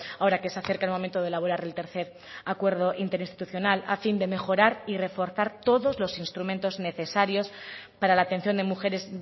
ahora que se acerca el momento de elaborar el tercer acuerdo interinstitucional a fin de mejorar y reforzar todos los instrumentos necesarios para la atención de mujeres